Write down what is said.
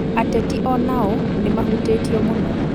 Ateti onao nĩmahutĩtio mũno